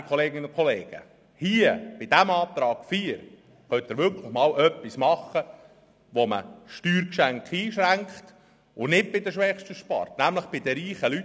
Werte Kolleginnen und Kollegen, mit dem Antrag 4 können Sie wirklich einmal etwas zur Einschränkung von Steuergeschenken unternehmen, ohne bei den Schwächsten zu sparen, sondern stattdessen bei den reichen Leuten.